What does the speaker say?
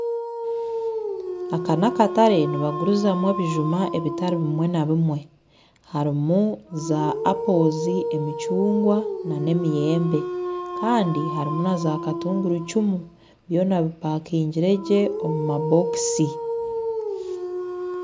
Aka nakatare nibagurizamu ebijuma bitari bimwe na bimwe harimu za apo emicungwa nana emiyembe Kandi harimu na za katunguru icumu byona bipakingire gye omu mabokisi